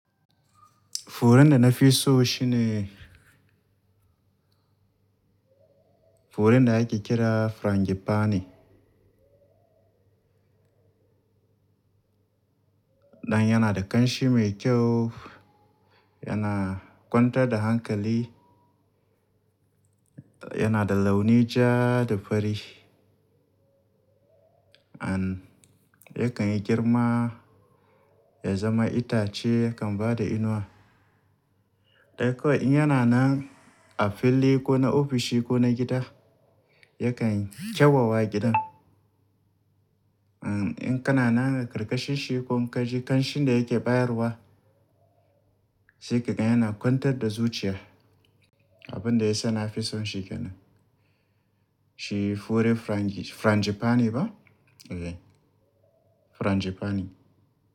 Furen da na fi so shi ne, furen da ake kira frangipani. Dan yana da ƙanshi mai kyau, yana kwantar da hankali, yana da launi jah, da fari. An, yakan yi girma ya zama itace yakan ba da inuwa. Dan kawai in yana nan, a filli ko na ofishi ko na gida, yakan kyawawa gidan. An, in kana nan karkashin shi, ko in ka ji kanshin da yake bayarwa, sai ka ga yana kwantar da zuciya. Abin da ya sa na fi son shi ke nan. Shi furen furenjifani ba, eh, furenjifni.